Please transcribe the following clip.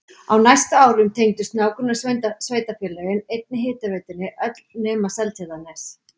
Á næstu árum tengdust nágrannasveitarfélögin einnig hitaveitunni öll nema Seltjarnarnes.